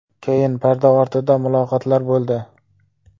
Keyin parda ortida muloqotlar bo‘ldi.